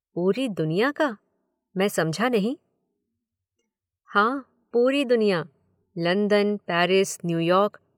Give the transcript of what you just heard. पूरी दुनिया का। मैं समझा नहीं। हाँ, पूरी दुनिया। London, Paris, New York.